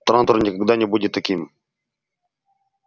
трантор никогда не будет таким